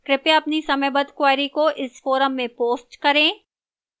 कृपया अपनी समयबद्ध queries को इस forum में post करें